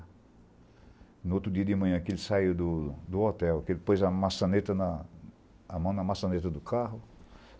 No outro dia de manhã que ele saiu do do hotel, que ele pôs a maçaneta na... A mão na maçaneta do carro.